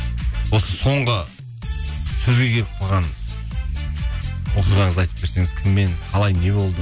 осы соңғы сөзге келіп қалған оқиғаңызды айтып берсеңіз кіммен қалай не болды